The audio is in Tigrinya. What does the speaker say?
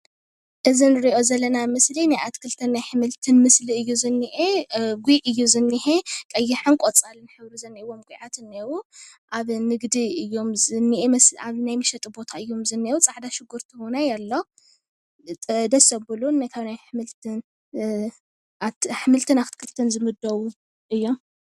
እዚ እንርእዮ ዘለና ምስሊ ናይ ኣትክልትን ኣሕምልትን ምስሊ እዩ ዝኒአ። ጒዕ እዩ ዝኒሀ ቀያሕን ቆፃልን ሕብሪ ዝኒአዎም ጉዓት እኒአው ኣብ ንግዲ እዩም ዝኒአ ኣብ ናይ መሸጢ ቦታ እዩም ዝኒአው ፃዕዳ ሽጉርቲ እወነይ ኣሎ ደስ ዘብሉን ኣትክልትን ኣሕምልትን ዝምደቡ እዮም።